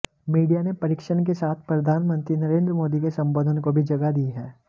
media ने परीक्षण के साथ प्रधानमंत्री नरेंद्र मोदी के संबोधन को भी जगह दी है